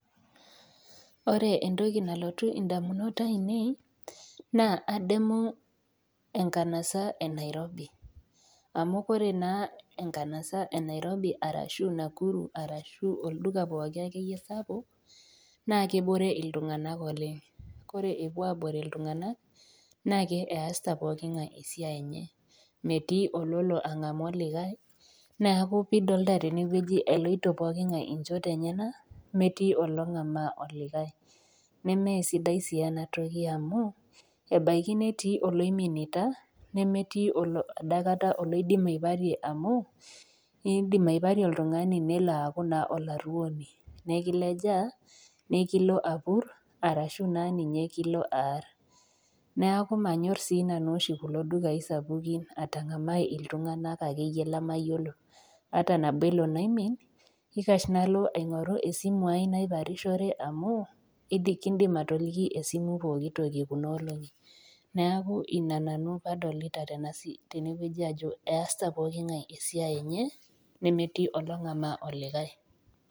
Ore entoki nalotu indamunot aainei, naa adamu enkanasa e Nairobi, amu Kore naa enkanasa e Nairobi arashu e Nakuru arashu olduka ake iyie pooki saapuk naa kebore iltung'ana oleng', Kore epuo aabore iltung'ana naake easita pookin ngai esiai enye, metii ololo ang'amaa olikai, neaku pidolta tenewueji, eloito pookin ngai inchot enyena, metii olong'amaa olikai, nemee sidai sii ena toki amu, ebaiki netii oloiminita, nemetii adaikata oloidim aiparie amu, indim aiparie oltung'ani nelo aaku naa olaruoni, nekilejaa, nekilo apur, arashu naa ninye kilo aar, neaku manyor naa oshi nanu kulo dukai sapukin atang'amaai ake iyie iltung'ana lemeyioulo ata nabo elo naomin, eikash nalo aing'oru esimu aai naiparishore amuu kiindim atoliki esimu pookitoki kunaa olong'i. Neaku Ina nanu paadolita nanu tene wueji ajo keasita pooki ngae esiai enye netii olong'amaa olikai.